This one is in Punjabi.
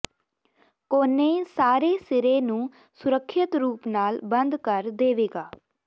ਕੋਨੇ ਸਾਰੇ ਸਿਰੇ ਨੂੰ ਸੁਰੱਖਿਅਤ ਰੂਪ ਨਾਲ ਬੰਦ ਕਰ ਦੇਵੇਗਾ